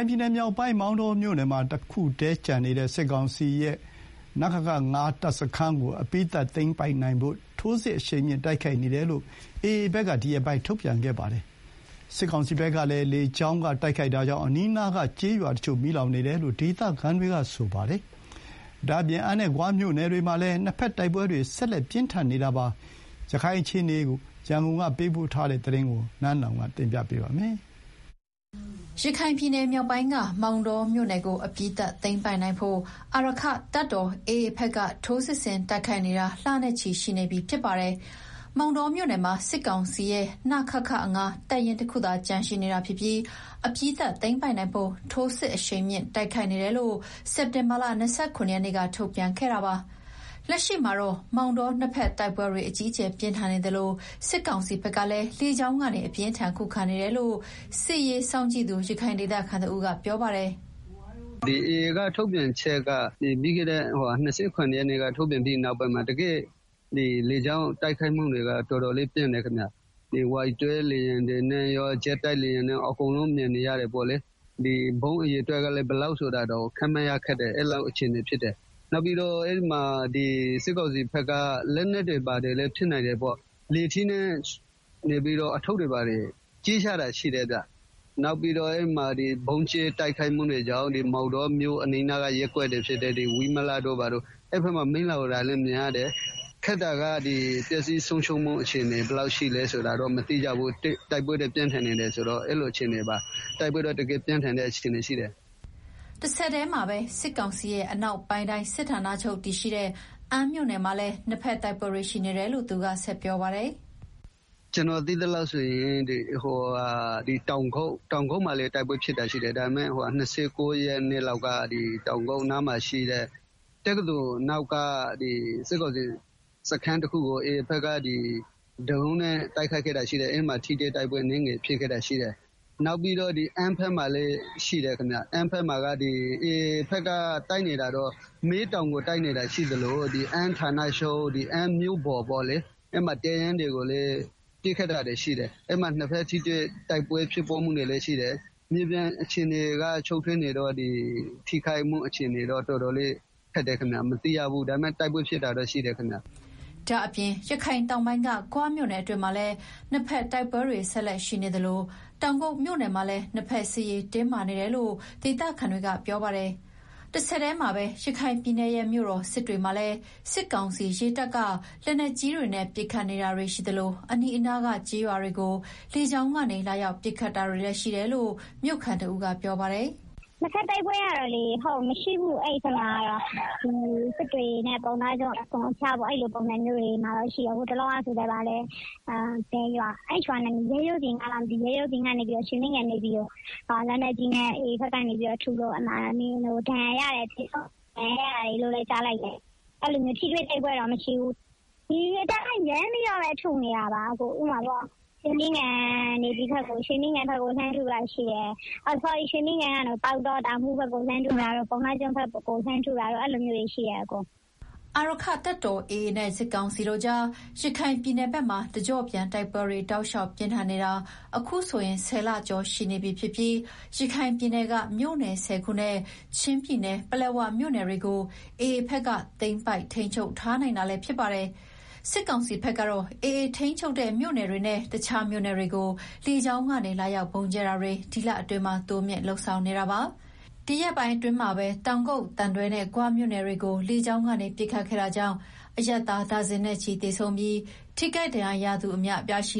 င်ပြည်နယ်မြောက်ပိုင်း မောင်တောမြို့နယ်မှာ တခုတည်းကျန်ရှိနေတဲ့ စစ်ကောင်စီရဲ့ နခခ တပ်စခန်းကိုအပြီးသတ်သိမ်းပိုက်နိုင်ဖို့ ထိုးစစ်အရှိန်မြှင့်တိုက်ခိုက်နေတယ်လို့ AAဘက်က ဒီရက်ပိုင်းထုတ်ပြန်ခ့ပါတယ်။ လက်ရှိမှာတော့ မောင်တောမှာ တိုက်ပွဲတွေ ပြင်းထန်နေသလို စစ်ကောင်စီဘက်က လေကြောင်းတိုက်ခိုက်မှုတွေ အကြီးအကျယ်လုပ်နေတာကြောင့် အနီးအနားက ကျေးရွာတချို့ မီးလောင်နေတယ်လို့ ဒေသခံတွေက ပြောပါတယ်။ ဒါ့အပြင် အမ်းနဲ့ ဂွမြို့နယ်တွေမှာလည်း နှစ်ဘက်တိုက်ပွဲတွေ ဆက်လက်ပြင်း ထန်နေတာပါ။ ရခိုင်တိုက်ပွဲနောက်ဆုံးရ အခြေအနေတွေရန်ကုန်က ပေးပို့ထားတဲ့ သတင်းကို နန်းလောင်ဝ်က တင်ပြပေးထားပါတယ်။ ရခိုင်ပြည်နယ်မြောက်ပိုင်းက မောင်တောမြို့နယ်ကို အပြီးသတ်သိမ်းပိုက်နိုင်ဖို့ အာရက္ခတပ်တော် AA က ထိုးစစ်ဆင်တိုက်ခိုက်နေတာ လနဲ့ချီနေပါပြီ။ မောင်တောမြို့နယ်မှာ စစ်ကောင်စီရဲ့ နခခ တပ်ရင်းတခုသာ ကျန်ရှိနေတာဖြစ်ပြီးအပြီးသတ်သိမ်းပိုက်နိုင်ဖို့ ထိုးစစ်အရှိန်မြင့် တိုက်ခိုက်နေတယ်လို့စက်တင်ဘာလ ၂၇ ရက်နေ့က ထုတ်ပြန်ခဲ့တာပါ။ လက်ရှိမှာတော့ မောင်တောမြို့မှာ နှစ်ဘက်တိုက်ပွဲတွေ အကြီးအကျယ်ပြင်းထန်နေသလို စစ်ကောင်စီဘက်ကလည်းလေကြောင်းကနေ အပြင်းအထန်ခုခံနေတယ်လို့ စစ်ရေးစောင့်ကြည့်နေသူ ရခိုင်ဒေသခံတဦးကပြောပါတယ်။ “ပြီးခဲ့တဲ့ ၂၇ ရက်နေ့ AA က ထုတ်ပြန်ချက်ထုတ်ပြီးနောက်ပိုင်းမှာ လေကြောင်းတိုက်ခိုက်မှုတွေက တော်တော်လေးပြင်းတယ်ခင်ဗျာ၊ Y12လေယာဉ်တွေနဲ့ရော ဂျက်တိုက်လေယာဉ်တွေနဲ့ပါ အကုန်လုံးမြင်နေရတယ်၊ ဗုံးအရေအတွက်ကလည်း ဘယ်လောက်ဆိုတာတောင် ခန့်မှန်းရခက်တယ်။ အဲလောက် အခြေအနေဖြစ်တယ်။ နောက်ပြီးတော့ အဲဒီမှာ စစ်ကောင်စီဘက်က လက်နက်တွေ ဘာတွေလည်း ဖြစ်နိုင် တယ်ပေါ့၊ လေထီးနဲ့ အထုပ်တွေ ဘာတွေ ကြဲချတာရှိတယ်။နောက်ပြီးတော့ အဲဒီမှာ ဗုံးကြဲတိုက်ခိုက်မှုတွေကြောင့် မောင်တောမြို့ အနီးအနားက ရပ်ကွက်တွေဖြစ်တဲ့ ဝိမလတို့ဘာတို့ အဲဘက်မှာ မီးလောင်နေတာလည်း မြင်ရတယ်။ ပျက်စီးဆုံးရှုံးမှု ဘယ်လောက်ရှိ တယ်ဆိုတာတော့ မသိရဘူး။တိုက်ပွဲကတော့ တကယ်ကို ပြင်းထန်နေပါတယ်။” တဆက်တည်းမှာပဲ စစ်ကောင်စီရဲ့ အနောက်ပိုင်းတိုင်းစစ်ဌာနချုပ်တည်ရှိတဲ့ အမ်းမြို့နယ်မှာလည်း နှစ်ဘက်တိုက်ပွဲတွေ ရှိနေတယ်လို့ သူက ဆက်ပြောပါတယ်။ “ကျနော်သိသလောက်ဆိုရင် တောင်ကုတ်မှာလည်း တိုက်ပွဲဖြစ်တာရှိတယ်။ ၂၉ ရက်နေ့က တောင်ကုတ်နားမှာရှိတဲ့ တက္ကသိုလ်နောက်မှာရှိတဲ့ စစ်ကောင်စီစခန်းတခုကို AA ဘက်က ဒရုန်းနဲ့တိုက်ခိုက်ခဲ့တာရှိတယ်။ အဲဒီမှာ ထိတွေ့တိုက်ပွဲအနည်းငယ်ဖြစ်ခဲ့တာရှိတယ်။ နောက်ပြီးတော့ အမ်းဘက်မှာလည်း ရှိတယ်ခင်ဗျာ။ AA က မဲတောင်ကို တိုက်နေတာရှိသလို အမ်းဌာနချုပ် အမ်းမြို့ပေါ် အဲမှာ တပ်ရင်းတွေကိုလည်း ပစ်ခတ် တာတွေရှိတယ်။ အဲမှာ နှစ်ဘက် ထိတွေ့တိုက်ပွဲဖြစ်ပွားမှုတွေလည်းရှိတယ်။ မြေပြင်အခြေအနေက ရှုပ်ထွေးနေတော့ ဒီ ထိခိုက်မှုအခြေအနေ မသိရဘူး။ တိုက်ပွဲကတော့ ဖြစ်နေတယ်။” ဒါ့ပြင် ရခိုင်တောင်ပိုင်းက ဂွမြို့နယ်အတွင်းမှာလည်း နှစ်ဘက်တိုက်ပွဲတွေ ဆက်လက်ရှိနေသလို တောင်ကုတ်မြို့နယ်မှာလည်း နှစ်ဘက်စစ်ရေး တင်းမာနေတယ်လို့ ဒေသခံတွေက ပြောပါတယ်။ တဆက်တည်းမှာပဲ ရခိုင်ပြည်နယ်ရဲ့မြို့တော်စစ်တွေမှာလည်း စစ်ကောင်စီရေတပ်က လက်နက်ကြီးတွေနဲ့ ပစ်ခတ်နေတာတွေရှိသလို အနီးအနားကကျေးရွာတွေကို လေကြောင်းကနေ လာရောက်ပစ်ခတ်တာတွေလည်း ရှိတယ်လို့ မြို့ခံတဦးကပြောပါတယ်။ “နှစ်ဘက်တိုက်ပွဲကတော့ မရှိဘူး။ စစ်တွေနဲ့ ပုဏ္ဏားကျွန်းကြား အစွန်အဖျားတွေမှာတော့ ရှိတယ်။ ဟိုတလောက ရဲရိုးပြင်ကနေပြီးတော့ ရွှေမင်းဂံမှာ ရှိတဲ့ Navyကို AA ဘက်က လက်နက်ကြီးနဲ့ထုလို့ ဒဏ်ရာရတယ်လို့လည်း ကြားလိုက်တယ်။ ထိတွေ့တိုက်ပွဲတော့ မရှိဘူး။ ဒီအတိုင်း ရမ်းပြီးတော့ ထုနေတာ။ ရွေမင်းဂံရေတပ်ကနေ ပေါက်တော၊ ပုဏ္ဏားကျွန်းဘက်တွေကို လှမ်းထုနေတာ အဲလိုမျိုးတွေရှိတယ်။” အာရက္ခတပ်တော် AA နဲ့ စစ်ကောင်စီကြား ရခိုင်ပြည်နယ်မှာတကြော့ပြန်တိုက်ပွဲတွေ တောက်လျှောက်ပြင်းထန်နေတာ အခုဆိုရင် ၁ဝ လ ကျော်ရှိနေပြီဖြစ်သလို ရခိုင်ပြည်နယ်က မြို့နယ် ၁ဝ ခုနဲ့ ချင်းပြည်နယ်က ပလက်ဝမြို့နယ်တွေကို AA ဘက်က သိမ်းပိုက် ထိန်းချုပ်ထားနိုင် တာလည်းဖြစ်ပါတယ်။ စစ်ကောင်စီဘက်ကတော့ AA ထိန်းချုပ်မြို့နယ်တွေနဲ့ တခြားမြို့နယ်တွေကို လေကြောင်းကနေ လာရောက်ဗုံးကြဲတာတွေ ဒီလအတွင်းမှာ တိုးမြှင့်လုပ်ဆောင်နေတာပါ။ ဒီရက်ပိုင်းအတွင်းမှာပဲ တောင်ကုတ်၊ သံတွဲ၊ ဂွနဲ့ မြို့နယ်တွေကိုလေကြောင်းပစ်ခတ်ခဲ့တာကြောင့် အရပ်သား ဒါဇင်နဲ့ချီသေဆုံးခဲ့သလို ထိခိုက်ဒဏ်ရာရသူတွေလည်း အများအပြားရှိ